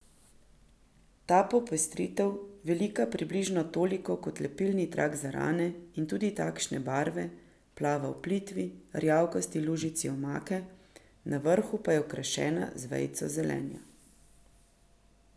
Ta popestritev, velika približno toliko kot lepilni trak za rane in tudi takšne barve, plava v plitvi, rjavkasti lužici omake, na vrhu pa je okrašena z vejico zelenja.